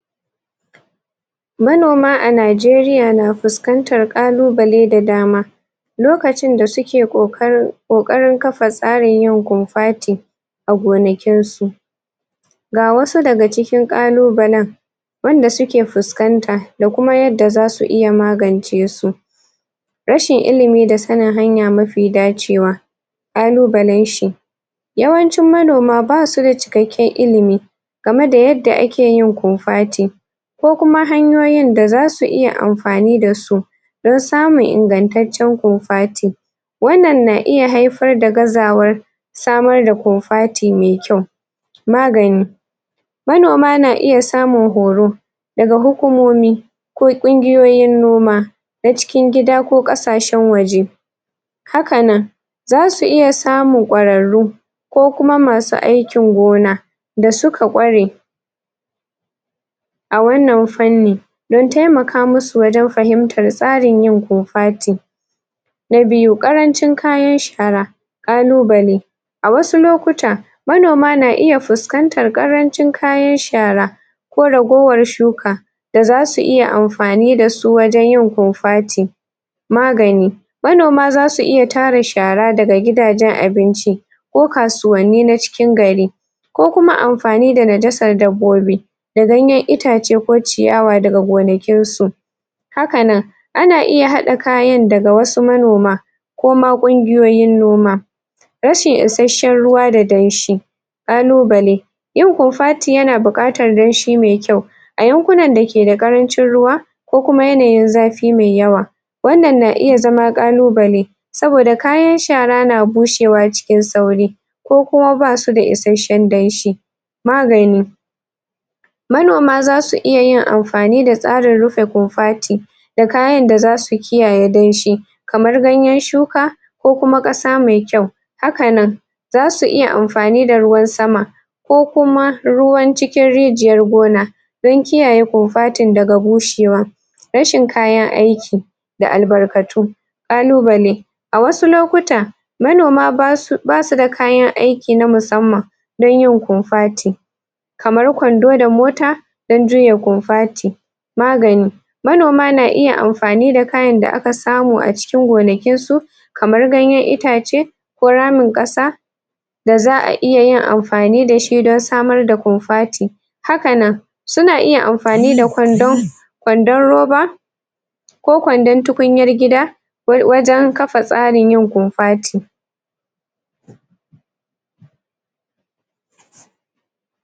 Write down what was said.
Manoma a Najeriya na fuskantar ƙalubale da dama lokacin da suke ƙoƙarin ƙoƙarin kafa tsarin yin kofati a gonakin su ga wasu daga cikin ƙalubalen wanda suke fuskanta da kuma yadda zasu iya magance su rashin ilimi da sanin hanya mafi dacewa ƙalubalen shi yawancin manoma basu da cikakken ilimi game da yadda ake yin kofati ko kuma hanyoyin da zasu iya amfani da su dan samun ingantaccen kofati wannan na iya haifar da gazawa samar da kofati me kyau magani manoma na iya samun horo daga hukumomi ko ƙungiyoyin noma na cikin gida ko ƙasashen waje haka nan zasu iya samun ƙwararru ko kuma masu aikin gona da suka ƙware a wannan fanni dan taimaka musu wajen fahimtar tsarin yin kofati na biyu, ƙarancin kayan shara ƙalubale a wasu lokuta manoma na iya fuskantar ƙarancin kayan shara ko ragowar shuka da zasu iya amfani da su wajen yin kofati magani manoma zasu iya tara shara daga gidajen abinci ko kasuwanni na cikin gari ko kuma amfani da najasar dabbobi da ganyen itace ko ciyawa daga gonakin su haka nan ana iya haɗa kayan daga wasu manoma ko ma ƙungiyoyin noma rashin isashen ruwa da danshi ƙalubale yin kofati yana buƙatar danshi mai kyau a yankunan da ke da ƙarancin ruwa ko kuma yanayin zafi mai yawa wannan na iya zama ƙalubale saboda kayan shara na bushewa cikin sauri ko kuma basu da isashen danshi magani manoma zasu iya yin amfani da tsarin rufe kofati da kayan da zasu kiyaye danshi kamar ganyen shuka ko kuma ƙasa mai kyau haka nan zasu iya amfani da ruwan sama ko kuma ruwan cikin rijiyar gona dan kiyaye kofatin daga bushewa rashin kayan aiki da albarkatu ƙalubale a wasu lokuta manoma basu da kayan aiki na musamman dan yin kofati kamar kwando da mota dan juya kofati magani manoma na iya amfani da kayan da aka samu a cikin gonakin su kamar ganyen itace ko ramin ƙasa da za'a iya yin amfani da shi don samar da kofati haka nan suna iya amfani da kwando kwandon roba ko kwandon tukunyar gida wajen kafa tsarin yin kofati.